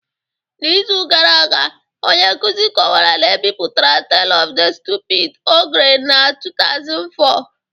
N’izu gara aga, onye nkuzi kọwara na e bipụtara Tale of the Stupid Ogre na 2004